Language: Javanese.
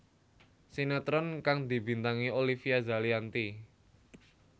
Sinetron kang dibintangi Olivia Zalianty